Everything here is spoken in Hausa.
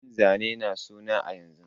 Yin zane na suna a yanzu